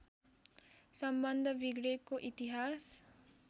सम्बन्ध बिग्रेको इतिहास